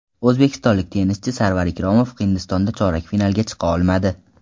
O‘zbekistonlik tennischi Sarvar Ikromov Hindistonda chorak finalga chiqa olmadi.